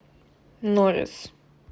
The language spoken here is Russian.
норис